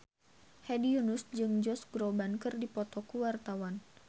Hedi Yunus jeung Josh Groban keur dipoto ku wartawan